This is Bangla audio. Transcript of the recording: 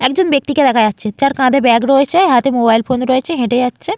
একজন ব্যক্তি কে দেখা যাচ্ছে যার কাঁধে ব্যাগ রয়েছে হাতে মোবাইল ফোন রয়েছে হেঁটে যাচ্ছে।